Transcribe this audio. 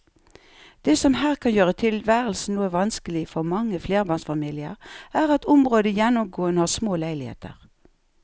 Det som her kan gjøre tilværelsen noe vanskelig for mange flerbarnsfamilier er at området gjennomgående har små leiligheter.